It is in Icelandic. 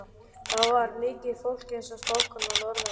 Þar var mikið fólk, eins og spákonan orðar það.